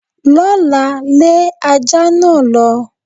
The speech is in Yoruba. L'ọ́la, lé ajá náà lọ.